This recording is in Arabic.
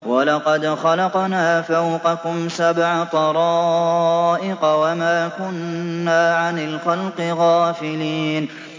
وَلَقَدْ خَلَقْنَا فَوْقَكُمْ سَبْعَ طَرَائِقَ وَمَا كُنَّا عَنِ الْخَلْقِ غَافِلِينَ